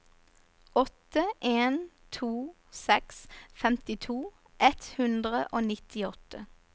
åtte en to seks femtito ett hundre og nittiåtte